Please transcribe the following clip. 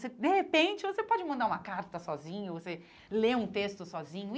De repente, você pode mandar uma carta sozinho, você lê um texto sozinho e.